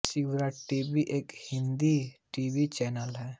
श्रद्धा TV एक Hindi TV channel है